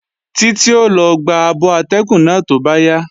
Títí ó lọ gba abọ atẹ́gùn náà tó bá yá